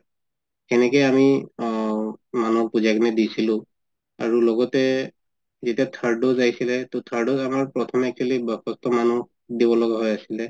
সেনেকে আমি আ মানুহ বুজাই কিনে দিছিলো আৰু লগতে যেতিয়া third dose উলাইছিলে third dose আমাৰ actually বয়সীয়াল মানুহ দিব লাগা হয় আছিলে